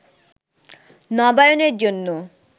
নবায়নের জন্য